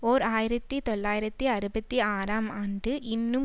ஓர் ஆயிரத்தி தொள்ளாயிரத்து அறுபத்தி ஆறாம் ஆண்டு இன்னும்